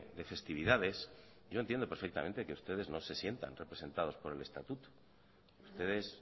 de festividades yo entiendo perfectamente que ustedes no se sientan representados por el estatuto ustedes